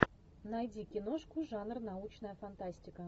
найди киношку жанр научная фантастика